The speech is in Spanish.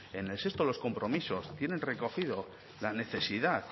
en el sexto de los compromisos tienen recogido la necesidad